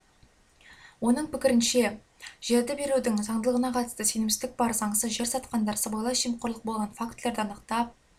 оның пікірінше жерді берудің заңдылығына қатысты сенімсіздік бар заңсыз жер сатқандар сыбайлас жемқорлық болған фактілерді анықтап